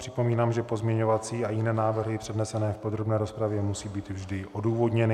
Připomínám, že pozměňovací a jiné návrhy přednesené v podrobné rozpravě musí být vždy odůvodněny.